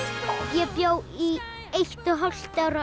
ég bjó í eitt og hálft ár á